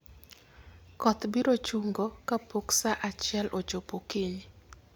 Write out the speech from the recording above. Koth biro chungo kapok sa achiel ochopo okinyi.